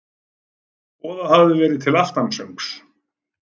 Boðað hafði verið til aftansöngs.